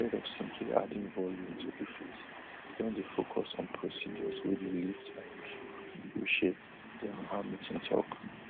instead of simply adding volume to di face we don dey focus on procedures wey dey lift and reshape reshape dr hamilton tok